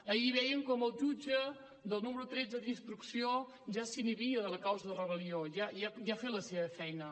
ahir vèiem com el jutge del número tretze d’instrucció ja s’inhibia de la causa de rebel·lió ja ha fet la seva feina